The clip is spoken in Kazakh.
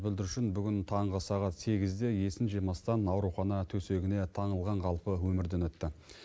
бүлдіршін бүгін таңғы сағат сегізде есін жимастан аурухана төсегіне таңылған қалпы өмірден өтті